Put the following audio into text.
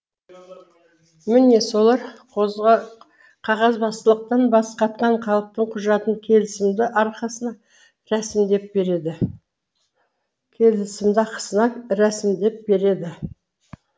міне солар қағазбастылықтан басы қатқан халықтың құжатын келісімді арқасына рәсімдеп береді келісімді ақысына рәсімдеп береді